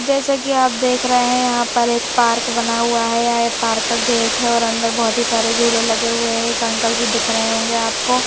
जैसे कि आप देख रहे हैं यहां पर एक पार्क बना हुआ है य पार्क का गेट है और अंदर बहुत ही सारे झूले लगे हुए हैं एक अंकल भी दिख रहे होंगे आपको।